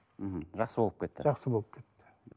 мхм жақсы болып кетті жақсы болып кетті